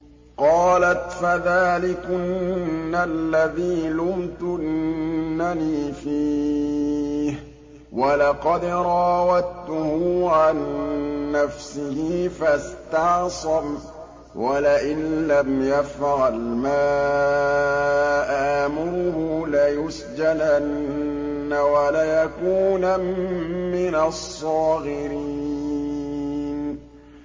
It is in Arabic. قَالَتْ فَذَٰلِكُنَّ الَّذِي لُمْتُنَّنِي فِيهِ ۖ وَلَقَدْ رَاوَدتُّهُ عَن نَّفْسِهِ فَاسْتَعْصَمَ ۖ وَلَئِن لَّمْ يَفْعَلْ مَا آمُرُهُ لَيُسْجَنَنَّ وَلَيَكُونًا مِّنَ الصَّاغِرِينَ